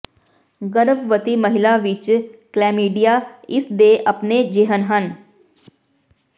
ਗਰਭਵਤੀ ਮਹਿਲਾ ਵਿੱਚ ਕਲੈਮੀਡੀਆ ਇਸ ਦੇ ਆਪਣੇ ਿਜਹਨ ਹਨ